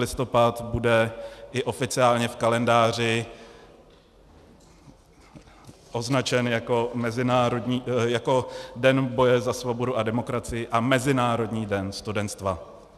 Listopad, bude i oficiálně v kalendáři označen jako Den boje za svobodu a demokracii a Mezinárodní den studenstva.